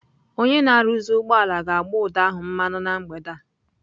Onye na-arụzi ụgbọala ga-agbụ ụdọ ahụ mmanụ na mgbede a.